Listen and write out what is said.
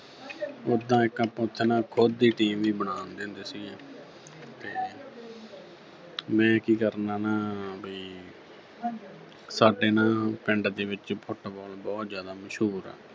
ਉੱਦਾਂ ਇੱਕ ਆਪਾਂ ਇੱਕ ਨਾ ਖੁਦ ਦੀ team ਵੀ ਬਣਾ ਲੈਂਦੇ ਹੁੰਦੇ ਸੀਗੇ ਤੇ ਮੈਂ ਕੀ ਕਰਨਾ ਨਾ ਬਈ ਸਾਡੇ ਨਾ ਪਿੰਡ ਦੇ ਵਿੱਚ Football ਬਹੁਤ ਜ਼ਿਆਦਾ ਮਸ਼ਹੂਰ ਆ